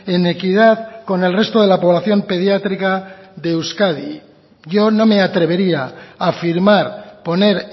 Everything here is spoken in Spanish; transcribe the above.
en equidad con el resto de la población pediátrica de euskadi yo no me atrevería a firmar poner